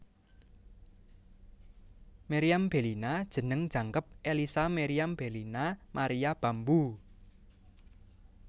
Meriam Bellina jeneng jangkep Ellisa Meriam Bellina Maria Bamboe